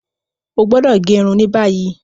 O gbọdọ ge irun ni bayi.